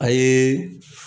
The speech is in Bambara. Ayeee.